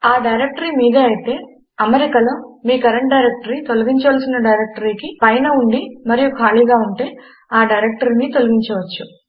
ఆ డైరెక్టరీ మీదే అయితే అమరికలో మీ కరంట్ డైరెక్టరీ తొలగించవలసిన డైరెక్టరీకి పైన ఉండి మరియు ఖాళీగా ఉంటే ఆ డైరెక్టరీని తొలగించవచ్చు